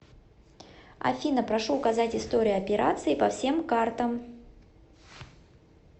афина прошу указать историю операции по всем картам